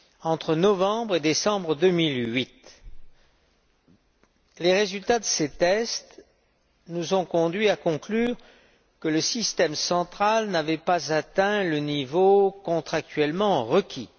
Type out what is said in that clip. Entre novembre et décembre 2008, les résultats de ces tests nous ont conduits à conclure que le système central n'avait pas atteint le niveau contractuellement requis.